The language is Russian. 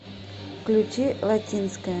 включи латинская